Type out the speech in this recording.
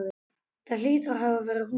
Það hlýtur að hafa verið hún.